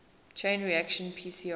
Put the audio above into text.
chain reaction pcr